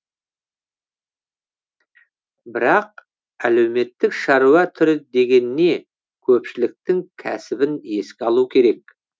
бірақ әлеуметтік шаруа түрі деген не көпшіліктің кәсібін еске алу керек